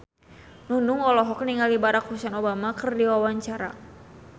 Nunung olohok ningali Barack Hussein Obama keur diwawancara